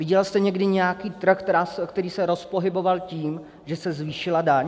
Viděla jste někdy nějaký trh, který se rozpohyboval tím, že se zvýšila daň?